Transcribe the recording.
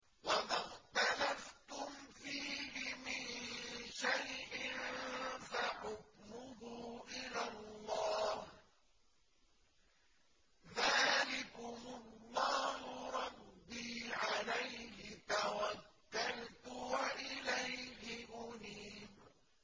وَمَا اخْتَلَفْتُمْ فِيهِ مِن شَيْءٍ فَحُكْمُهُ إِلَى اللَّهِ ۚ ذَٰلِكُمُ اللَّهُ رَبِّي عَلَيْهِ تَوَكَّلْتُ وَإِلَيْهِ أُنِيبُ